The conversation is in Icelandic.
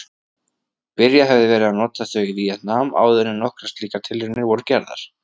Byrjað hefði verið að nota þau í Víetnam áðuren nokkrar slíkar tilraunir voru gerðar.